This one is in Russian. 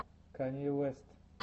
канье уэст